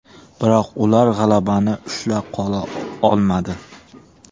Biroq ular g‘alabani ushla qola olmadi.